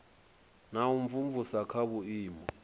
na u imvumvusa kha vhuimo